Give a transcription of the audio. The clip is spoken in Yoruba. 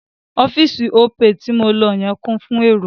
Ọ́fíì̀sì Opay ti mo lọ yẹn kún fún èrò..